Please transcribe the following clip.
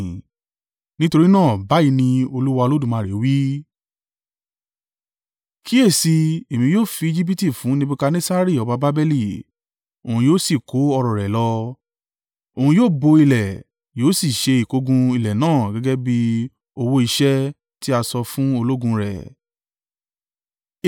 Nítorí náà, báyìí ni Olúwa Olódùmarè wí: Kíyèsi i, Èmi yóò fi Ejibiti fún Nebukadnessari ọba Babeli, òun yóò sì kó ọrọ̀ rẹ̀ lọ. Òun yóò bo ilé, yóò sì ṣe ìkógun ilẹ̀ náà gẹ́gẹ́ bí owó iṣẹ́ tí a san fún ológun rẹ̀.